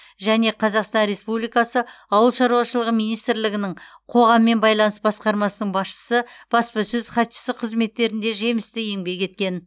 және қазақстан республикасы ауыл шаруашылығы министрлігінің қоғаммен байланыс басқармасының басшысы баспасөз хатшысы қызметтерінде жемісті еңбек еткен